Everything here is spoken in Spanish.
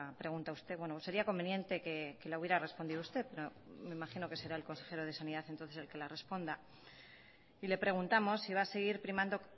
pregunta usted sería conveniente que la hubiera respondido usted pero me imagino que será el consejero de sanidad entonces el que la responda y le preguntamos si va a seguir primando